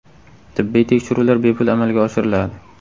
Tibbiy tekshiruvlar bepul amalga oshiriladi.